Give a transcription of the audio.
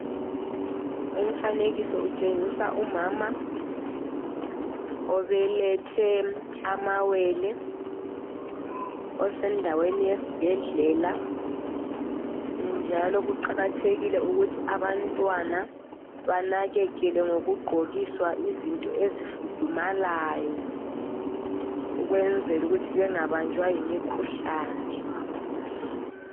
Umfanekiso utshengisa umama obelethe amawele osendaweni yesibhedlela njalo kuqakathekile ukuthi abantwana banakekele ngokugqokiswa izinto ezifudumalayo ukwenzela ukuthi bengabanjwa yimikhuhlane.